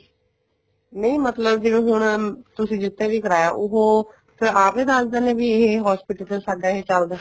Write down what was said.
ਨਹੀਂ ਮਤਲਬ ਹੁਣ ਤੁਸੀਂ ਜਿੱਥੇ ਵੀ ਕਰਾਇਆ ਉਹ ਆਪ ਹੀ ਦੱਸ ਦਿੰਦੇ ਇਹ hospital ਚ ਸਾਡਾ ਇਹ ਚੱਲਦਾ